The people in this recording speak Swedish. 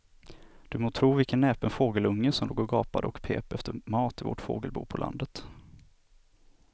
Du må tro vilken näpen fågelunge som låg och gapade och pep efter mat i vårt fågelbo på landet.